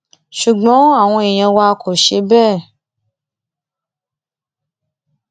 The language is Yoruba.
ṣùgbọn àwọn èèyàn wa kò ṣe bẹẹ